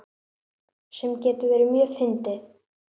Sem getur verið mjög fyndið.